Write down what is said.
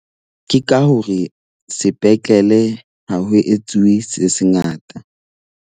Ke ka hore sepetlele ha ho etsuwe se se ngata.